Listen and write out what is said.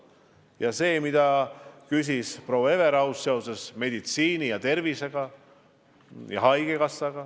Ja see, mille kohta küsis proua Everaus seoses probleemidega haigekassas ja üldse meditsiinis.